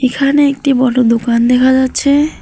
এখানে একটি বড় দোকান দেখা যাচ্ছে।